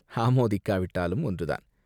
ஆமோதிக்காவிட்டாலும் ஒன்றுதான்.